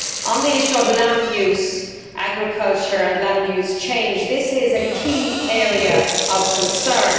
On the issue of land use agriculture and land use change this is a key area of concern.